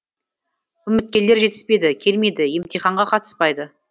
үміткерлер жетіспейді келмейді емтиханға қатыспайды